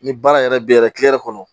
Ni baara yɛrɛ bɛ yɛrɛ kɔnɔ